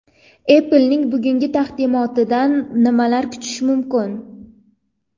Apple’ning bugungi taqdimotidan nimalar kutish mumkin?.